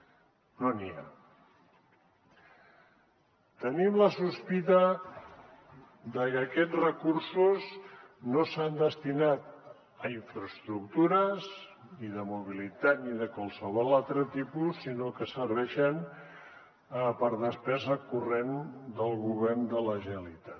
tenim la sospita de que aquests recursos no s’han destinat a infraestructures ni de mobilitat ni de qualsevol altre tipus sinó que serveixen per a despesa corrent del govern de la generalitat